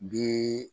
Bi